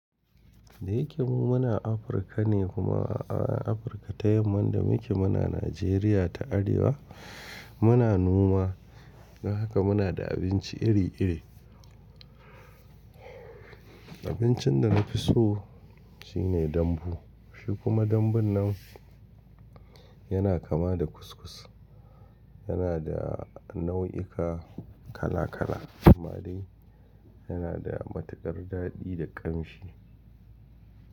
Da yake mu muna Afirka ne kuma a Afirka ta yamma inda muke muna Nijeriya ta Arewa muna noma don haka muna da abinci iri iri. Abincin da na fi so shine dambu. Shi kuma dambun nan yana kama da kuskus. Yana da nau'ika kala kala. Kumade yana da matukar daɗi da ƙamshi.